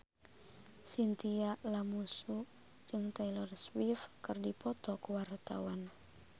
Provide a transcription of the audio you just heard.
Chintya Lamusu jeung Taylor Swift keur dipoto ku wartawan